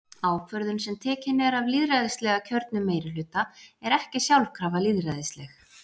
Ákvörðun sem tekin er af lýðræðislega kjörnum meirihluta er ekki sjálfkrafa lýðræðisleg.